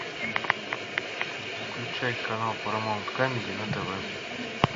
включай канал парамаунт камеди на тв